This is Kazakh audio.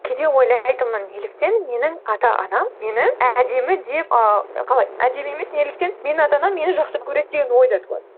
кейде ойлайтынмын неліктен менің ата анам мені әдемі деп ыыы қалай әдемі емес неліктен мені ата анам мені жақсы көреді деген ой да туады